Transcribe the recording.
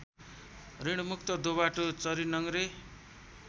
ऋणमुक्त दोबाटो चरीनङ्ग्रे